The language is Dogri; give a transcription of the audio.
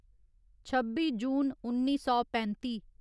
छब्बी जून उन्नी सौ पैंत्ती